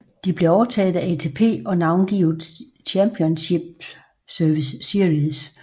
De blev overtaget af ATP og navngivet Championship Series